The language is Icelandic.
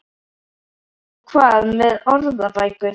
Og hvað með orðabækur?